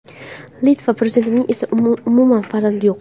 Litva prezidentining esa umuman farzandi yo‘q.